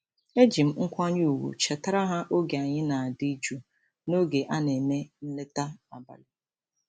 Eji m nkwanye ùgwù chetara ha oge anyị na-adị jụụ n’oge a na-eme nleta abalị.